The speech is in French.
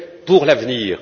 pour l'avenir.